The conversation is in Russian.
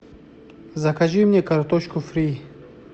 закажи мне картошку фри